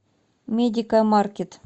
медикамаркет